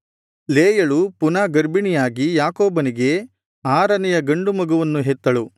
ಲೇಯಳು ಪುನಃ ಗರ್ಭಿಣಿಯಾಗಿ ಯಾಕೋಬನಿಗೆ ಆರನೆಯ ಗಂಡು ಮಗುವನ್ನು ಹೆತ್ತಳು